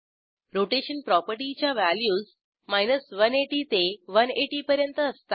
rotation प्रॉपर्टीच्या values 180 ते 180 पर्यंत असतात